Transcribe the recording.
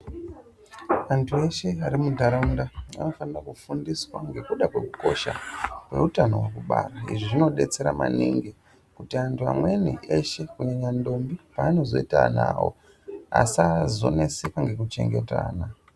Antu eshe arimuntaraunta anofanira kufundiswa ngenyaya yekukosha kwehutano hwekubara izvi zvinobetsera maningi kuti amweni antu eshe kunyanyanya ndombi paanozoita ana awo asazonetseka nekubara .